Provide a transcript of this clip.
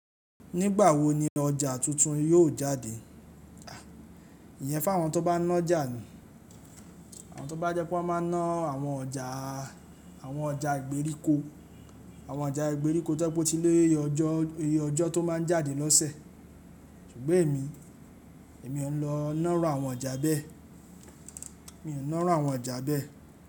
Nígbà wo ni ọjà tuntun yóò jáde? Ìyẹn fa àwọn tó bá nájà ni àwọn tó bá jẹ́ pé wọ́n máa ná àwọn ọjà, àwọn ọjà ìgbèríko, àwọn ọjà ìgbèríko tó yẹ pé ó ti lé iye ọjọ́ tó máa ń jáde lọ́sẹ̀. Ṣùgbọ́n èmi, èmi ò ń lọ náà irú àwọn ọjà bẹ́ẹ̀. Mi ń náà irú àwọn ọjà bẹ́ẹ̀.